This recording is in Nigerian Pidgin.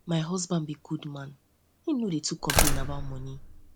my husband be good man he no dey too complain about money